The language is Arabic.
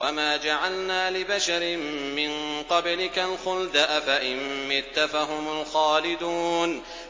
وَمَا جَعَلْنَا لِبَشَرٍ مِّن قَبْلِكَ الْخُلْدَ ۖ أَفَإِن مِّتَّ فَهُمُ الْخَالِدُونَ